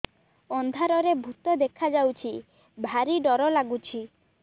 ଅନ୍ଧାରରେ ଭୂତ ଦେଖା ଯାଉଛି ଭାରି ଡର ଡର ଲଗୁଛି